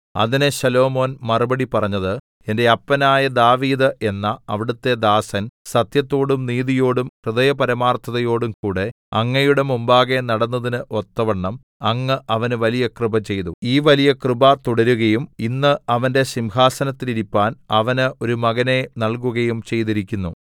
അതിന് ശലോമോൻ മറുപടി പറഞ്ഞത് എന്റെ അപ്പനായ ദാവീദ് എന്ന അവിടുത്തെ ദാസൻ സത്യത്തോടും നീതിയോടും ഹൃദയപരമാർത്ഥതയോടും കൂടെ അങ്ങയുടെ മുമ്പാകെ നടന്നതിന് ഒത്തവണ്ണം അങ്ങ് അവന് വലിയ കൃപ ചെയ്തു ഈ വലിയ കൃപ തുടരുകയും ഇന്ന് അവന്റെ സിംഹാസനത്തിൽ ഇരിപ്പാൻ അവന് ഒരു മകനെ നല്കുകയും ചെയ്തിരിക്കുന്നു